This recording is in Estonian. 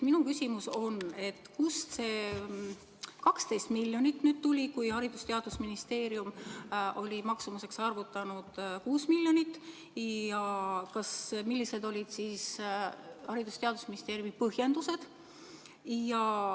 Minu küsimus on, et kust see 12 miljonit nüüd tuli, kui Haridus- ja Teadusministeerium oli maksumuseks arvutanud 6 miljonit, ja millised olid Haridus- ja Teadusministeeriumi põhjendused.